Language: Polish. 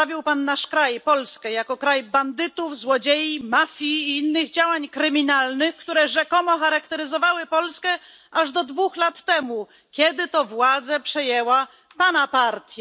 Przedstawił Pan nasz kraj, Polskę, jako kraj bandytów, złodziei, mafii i innych działań kryminalnych, które rzekomo charakteryzowały Polskę aż do dwóch lat temu, kiedy to władzę przejęła Pana partia.